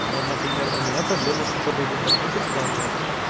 вон например у меня проблемы с учёбой в интернете в плане